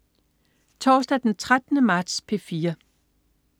Torsdag den 13. marts - P4: